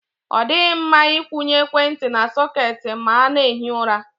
Ọ dịghị mma Ị kwụnye ekwentị na sọketi ma a na-ehi ụra.